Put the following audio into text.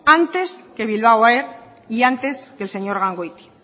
antes que bilbao air y antes que el señor gangoiti